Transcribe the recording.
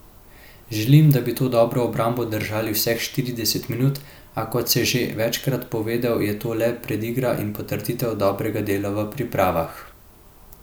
Želim, da bi to dobro obrambo držali vseh štirideset minut, a kot se že večkrat povedal, je to le predigra in potrditev dobrega dela v pripravah.